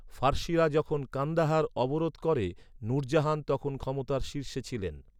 ফার্সিরা যখন কান্দাহার অবরোধ করে, নুরজাহান তখন ক্ষমতার শীর্ষে ছিলেন।